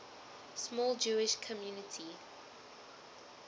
small jewish community